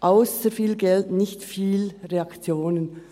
ausser viel Geld nicht viele Reaktionen.